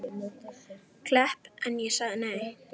Klepp en ég sagði nei.